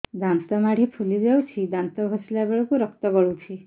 ଦାନ୍ତ ମାଢ଼ୀ ଫୁଲି ଯାଉଛି ଦାନ୍ତ ଘଷିଲା ବେଳକୁ ରକ୍ତ ଗଳୁଛି